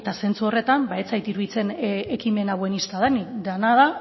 zentzu horretan ba ez zait iruditzen ekimen hau buenista denik dena da